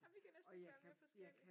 Ej vi kan næsten ikke være mere forskelligt